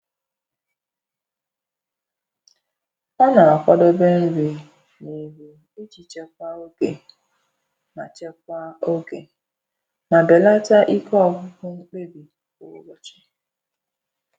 Ọ́ nà-àkwàdèbé nrí n’íhú ìjí chèkwáá ògé mà chèkwáá ògé mà bèlàtà íké ọ́gwụ́gwụ́ mkpébí kwá ụ́bọ̀chị̀.